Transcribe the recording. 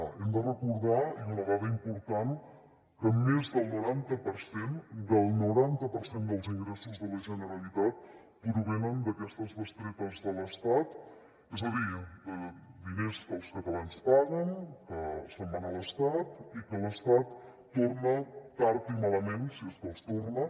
hem de recordar i una dada important que més del noranta per cent dels ingressos de la generalitat provenen d’aquestes bestretes de l’estat és a dir de diners que e catalans paguen que se’n van a l’estat i que l’estat torna tard i malament si és que els torna